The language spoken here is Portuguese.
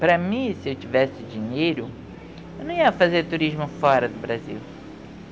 Para mim, se eu tivesse dinheiro, eu não ia fazer turismo fora do Brasil.